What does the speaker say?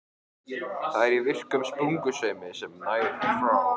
Það er í virkum sprungusveimi sem nær frá